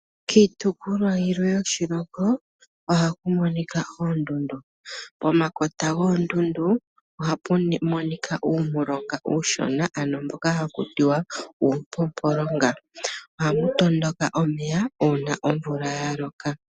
Kiitukulwa yilwe yoshilongo oha ku monika oondundu, pomakota goondundu oha pu monika uumulonga uushona ano mboka hakutiwa uumpopolonga, ohapu tondoka omeya ano uuna omvula ya loka.